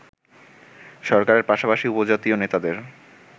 সরকারের পাশাপাশি উপজাতীয় নেতাদের